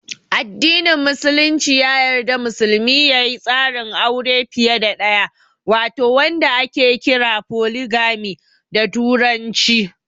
Addinin Musulunci ya yarda musulmi ya yi tsarin aure fiye da ɗaya wato wanda ake kira "Foligami" da turanci.